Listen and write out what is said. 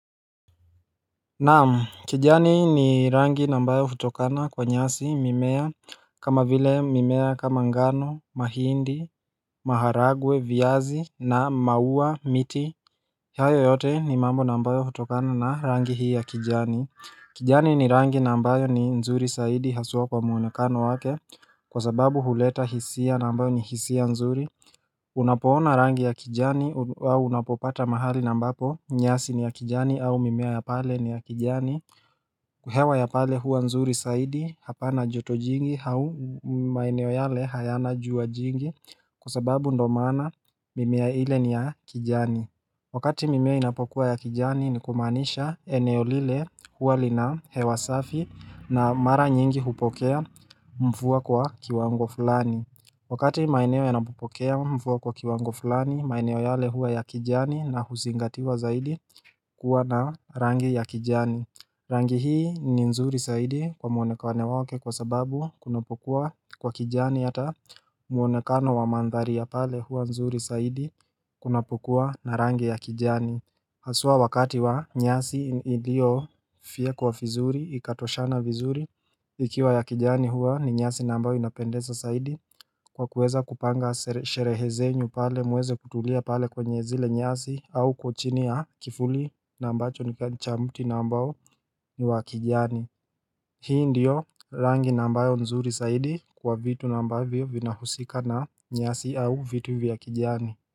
Naam, kijani ni rangi na ambayo hutokana kwa nyasi, mimea kama vile mimea kama ngano, mahindi, maharagwe, viazi na maua miti hayo yote ni mambo na ambayo hutokana na rangi hii ya kijani. Kijani ni rangi na ambayo ni nzuri zaidi haswa kwa muonekano wake, kwa sababu huleta hisia na ambayo ni hisia nzuri Unapoona rangi ya kijani au unapopata mahali na ambapo nyasi ni ya kijani au mimea ya pale ni ya kijani hewa ya pale huwa nzuri zaidi hapa na joto jingi au maeneo yale hayana jua jingi Kwa sababu ndio maana mimea ile ni ya kijani Wakati mimea inapokuwa ya kijani ni kumaanisha eneo lile huwa lina hewa safi, na mara nyingi hupokea mvua kwa kiwango fulani Wakati maeneo yanapopokea mvua kwa kiwango fulani, maeneo yale huwa ya kijani na huzingatiwa zaidi kuwa na rangi ya kijani Rangi hii ni nzuri zaidi kwa muonekano wake kwa sababu kunapokuwa kwa kijani, hata muonekano wa mandhari ya pale huwa nzuri zaidi kunapokua na rangi ya kijani Haswa wakati wa nyasi iliofiekwa vizuri, ikatoshana vizuri. Ikiwa ya kijani huwa ni nyasi na ambayo inapendeza zaidi kwa kuweza kupanga sherehe zenyu pale muweze kutulia pale kwenye zile nyasi au uko chini ya kivuli na ambacho ni cha mti na ambao ni wa kijani Hii ndiyo rangi na ambayo nzuri zaidi kwa vitu na ambavyo vinahusika na nyasi au vitu vya kijani.